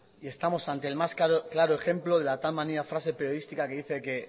y estamos ante el más claro ejemplo de la tal manida frase periodística que dice que